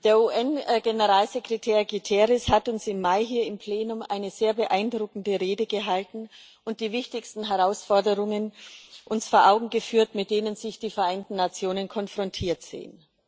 Der UN Generalsekretär Guterres hat uns im Mai hier im Plenum eine sehr beeindruckende Rede gehalten und uns die wichtigsten Herausforderungen uns vor Augen geführt, mit denen sich die Vereinten Nationen konfrontiert sehen.